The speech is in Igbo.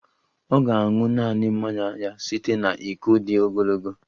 Ọ ga-aṅụ naanị mmanya ya site na iko dị ogologo